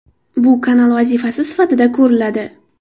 Bu kanal vazifasi sifatida ko‘riladi.